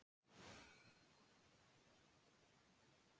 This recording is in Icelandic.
Og ekki íslenskum sveitaböllum.